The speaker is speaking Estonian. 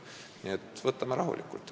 Nii et võtame rahulikult.